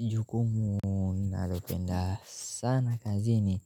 Jukumu nalopenda sana kazini